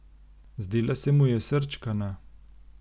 Zdela se mu je srčkana.